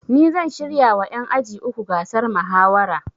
Ni zan shirya wa ƴan aji uku gasar mahawara